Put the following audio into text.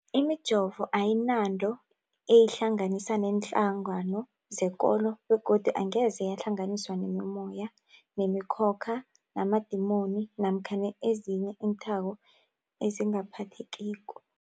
Imijovo ayinanto eyihlanganisa neenhlangano zekolo begodu angeze yahlanganiswa nemimoya, nemi khokha, namadimoni namkha ezinye iinthako ezingaphathekiko.